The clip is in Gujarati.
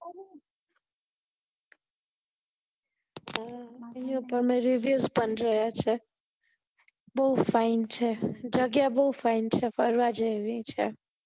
અમે reviews પણ જોયા છે બહુજ fine છે જગ્યા બહુ fine છે ફરવા જેવી છે